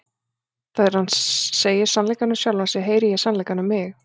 Þegar hann segir sannleikann um sjálfan sig heyri ég sannleikann um mig.